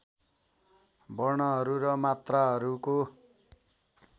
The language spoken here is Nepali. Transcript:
वर्णहरू र मात्राहरूको